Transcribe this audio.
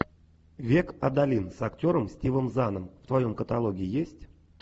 век адалин с актером стивом заном в твоем каталоге есть